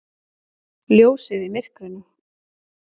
Ljósið í myrkrinu!